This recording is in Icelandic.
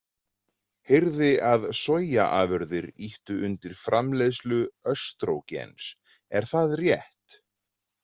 Heyrði að soyjaafurðir ýttu undir framleiðslu östrógens, er það rétt?